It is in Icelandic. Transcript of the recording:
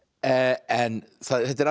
en þetta er alveg